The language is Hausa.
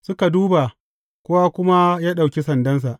Suka duba, kowa kuma ya ɗauki sandansa.